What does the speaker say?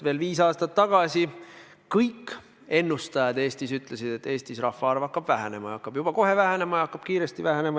Veel viis aastat tagasi kõik ennustajad Eestis ütlesid, et Eestis rahvaarv hakkab vähenema, ja hakkab juba kohe vähenema ja kiiresti vähenema.